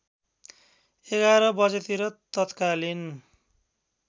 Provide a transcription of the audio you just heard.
११ बजेतिर तत्कालिन